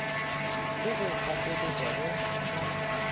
go go gapeletša go nwa